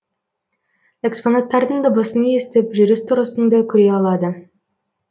экспонаттардың дыбысын естіп жүріс тұрысын да көре алады